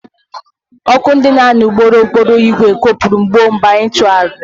Ọkụ ndị na-anya ụgbọ okporo ígwè kụpụrụ gbuo mgbe anyị tụgharịrị.